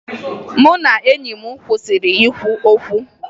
Mụ na enyi m kwụsịrị ikwu okwu